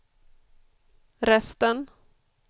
resten